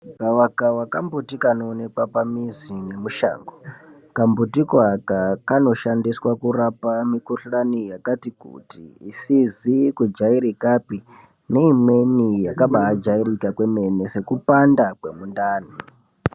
Gavakava kambuti kaoonekwa pamizi nemushango, kambuti koo aka kanoshandiswa kurapa mikhuhlani yakati kuti isizi kujairika pii neimweni yakabaa jairika kwemene sekupanda kwemundani.